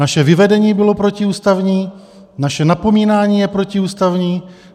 Naše vyvedení bylo protiústavní, naše napomínání je protiústavní.